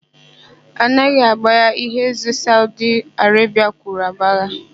A naghị agbaya ihe ézē Saudi Arebia kwuru agbaya.